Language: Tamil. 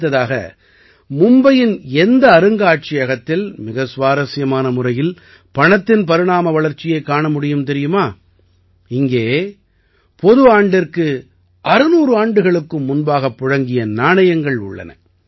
அடுத்து மும்பையின் எந்த அருங்காட்சியகத்தில் மிக சுவாரசியமான முறையில் பணத்தின் பரிணாம வளர்ச்சியைக் காண முடியும் தெரியுமா இங்கே பொதுவாண்டிற்கு 600 ஆண்டுகளுக்கும் முன்பாக புழங்கிய நாணயங்கள் உள்ளன